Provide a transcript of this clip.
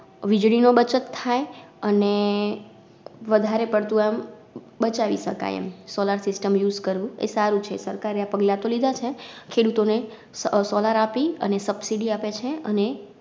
વીજળી નો બચત થાય અને વધારે પડતું આમ બચાવી સકાય એમ Solar systemUse કરવું એ સારું છે. સરકારએ આ પગલાં તો લીધા છે ખેડૂતોને Solar આપી અને Subsidy આપે છે અને